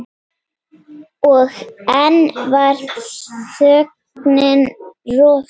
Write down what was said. Og enn var þögnin rofin.